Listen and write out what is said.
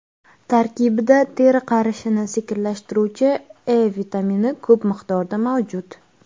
Tarkibida teri qarishini sekinlashtiruvchi E vitamini ko‘p miqdorda mavjud.